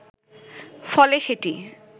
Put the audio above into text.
ফলে সেটি